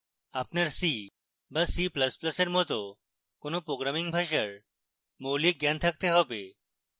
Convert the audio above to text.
আপনার c বা c ++ এর মত কোনো programming ভাষার মৌলিক জ্ঞান থাকতে have